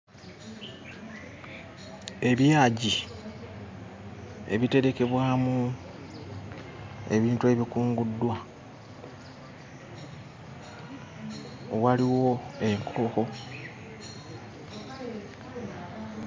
Ebyagi ebiterekebwamu ebintu ebikunguddwa waliwo enkulukuku.